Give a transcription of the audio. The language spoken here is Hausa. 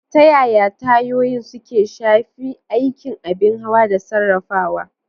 Ta yaya tayoyin suke shafi aikin abin hawa da sarrafawa?